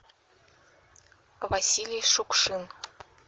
василий шукшин